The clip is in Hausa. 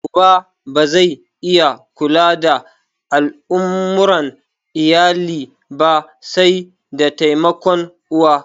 Uba ba zai iya kula da al'amuran iyali ba sai da taimakon uwa